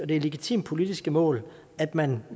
legitimt politisk mål at man